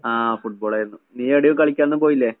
ആഹ് ഫുട്ബോളായിരുന്നു. നീയെവിടെയും കളിക്കാനൊന്നും പോയില്ലേ?